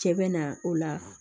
Cɛ bɛ na o la